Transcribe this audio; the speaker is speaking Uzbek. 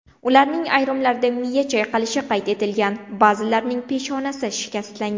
Ularning ayrimlarida miya chayqalishi qayd etilgan, ba’zilarining peshonasi shikastlangan.